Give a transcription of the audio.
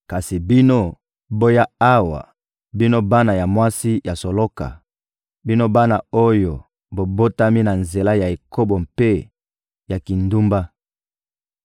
«Kasi bino, boya awa, bino bana ya mwasi ya soloka, bino bana oyo bobotami na nzela ya ekobo mpe ya kindumba.